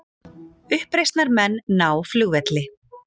Uppreisnarmenn ná flugvelli